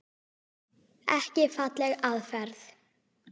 Ekki falleg aðferð.